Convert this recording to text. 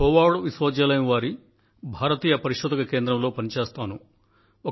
Howard విశ్వవిద్యాలయం వారి భారతీయ పరిశోధక కేంద్రం లో పనిచేస్తాను